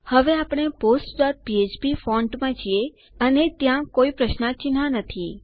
હવે આપણે postફ્ફ્પ ફોન્ટ માં છીએ અને ત્યાં કોઈ પ્રશ્નાર્થ ચિહ્ન નથી